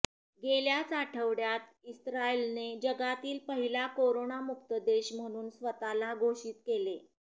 गेल्याच आठवड्यात इस्रायलने जगातील पहिला करोनामुक्त देश म्हणून स्वतःला घोषित केले